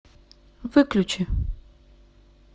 выключи